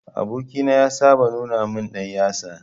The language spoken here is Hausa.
Aboki na ya saba nuna min dan yatsa.